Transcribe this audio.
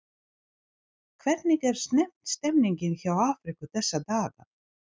Hvernig er stemningin hjá Afríku þessa dagana?